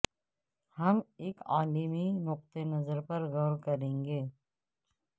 ہم ایک عالمی نقطہ نظر پر غور کریں گے